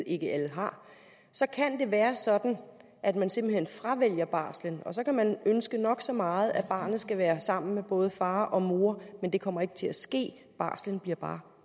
ikke har så kan det være sådan at man simpelt hen fravælger barslen og så kan man ønske nok så meget at barnet skal være sammen med både far og mor men det kommer ikke til at ske barslen bliver bare